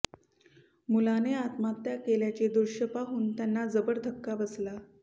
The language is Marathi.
मुलाने आत्महत्या केल्याचे दृष्य पाहून त्यांना जबर धक्का बसला